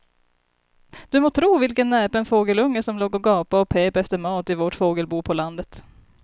Du må tro vilken näpen fågelunge som låg och gapade och pep efter mat i vårt fågelbo på landet.